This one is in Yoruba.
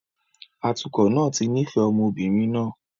Atukọ̀ náà ti nífẹ̀ẹ́ ọmọ obìnrin náà